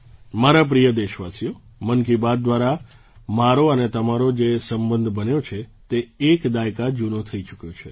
મારા પ્રિય દેશવાસીઓ મન કી બાત દ્વારા મારો અને તમારો જે સંબંધ બન્યો છે તે એક દાયકા જૂનો થઈ ચૂક્યો છે